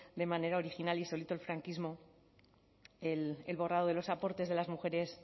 de manera original y solito el franquismo el borrado de los aportes de las mujeres